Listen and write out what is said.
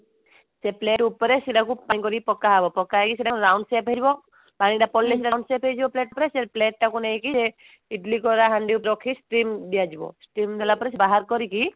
ସେ plate ଉପରେ ସେଟାକୁ plane କରି ପକାହେବ ପକାହେଇ ସେଟାକୁ round shape କରିବ ପାଣି ଟା ପଡିଲେ ସେଟା round shape ହେଇଯିବ plate ଉପରେ ସେ plate ଟାକୁ ନେଇକି ଇଡିଲି କର ହାଣ୍ଡି ଉପରେ ରଖି steam ଦିଆଯିବ steam ଦେଲାପରେ ସେଟ ବାହାର କରିକି